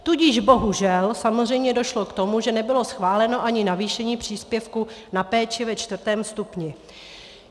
Tudíž bohužel samozřejmě došlo k tomu, že nebylo schváleno ani navýšení příspěvku na péči ve čtvrtém stupni.